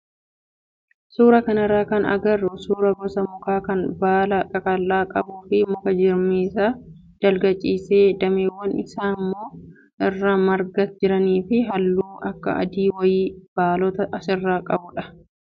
Suuraa kanarraa kan agarru suuraa gosa mukaa kan baala qaqal'aa qabuu fi muka jirmi isaa dalga ciisee dameewwan isaa immoo irraa margaa jiranii fi halluu akka adii wayii baalota isaarraa qabudha.